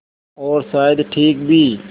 और शायद ठीक भी